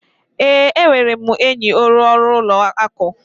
Ee, enwere m enyi onye ọrụ ụlọ akụ.